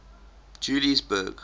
juliesburg